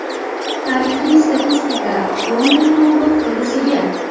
Tarixiy statistika London klubi foydasiga.